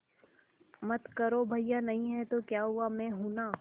मत करो भैया नहीं हैं तो क्या हुआ मैं हूं ना